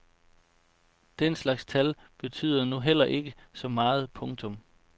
Den slags tal betyder nu heller ikke så meget. punktum